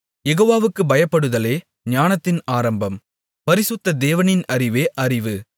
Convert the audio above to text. யெகோவாவுக்குப் பயப்படுதலே ஞானத்தின் ஆரம்பம் பரிசுத்த தேவனின் அறிவே அறிவு